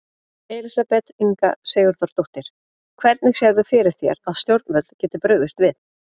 Elísabet Inga Sigurðardóttir: Hvernig sérðu fyrir þér að stjórnvöld geti brugðist við?